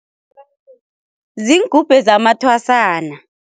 Ziingubhe zamathwasana.